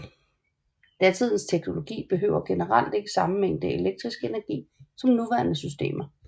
Datidens teknologi behøver generelt ikke samme mængde elektrisk energi som nuværende systemer